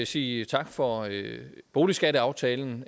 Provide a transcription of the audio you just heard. sige tak for boligskatteaftalen